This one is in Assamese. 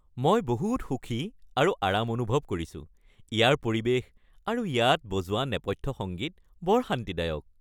মই বহুত সুখী আৰু আৰাম অনুভৱ কৰিছো, ইয়াৰ পৰিৱেশ আৰু ইয়াত বজোৱা নেপথ্য সংগীত বৰ শান্তিদায়ক!